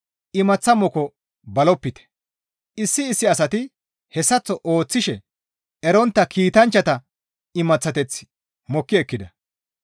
Imaththa moko balopite; issi issi asati hessaththo ooththishe erontta kiitanchchata imaththateth mokki ekkida.